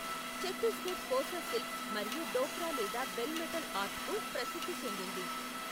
Chhattisgarh Kosa silk మరియు డోక్రా లేదా bell metal ఆర్ట్కు ప్రసిద్ధి చెందింది.